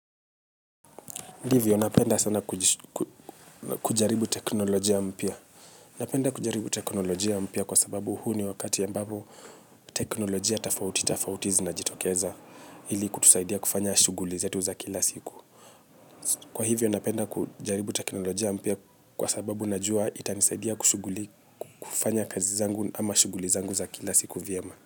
Ndivyo, napenda sana kujaribu teknolojia mpia. Napenda kujaribu teknolojia mpia kwa sababu huu ni wakati ambabo teknolojia tafauti, tafauti zinajitokeza ili kutusaidia kufanya shuguli zetu za kila siku. Kwa hivyo, napenda kujaribu teknolojia mpia kwa sababu najua itanisaidia kufanya kazi zangu ama shuguli zangu za kila siku viyema.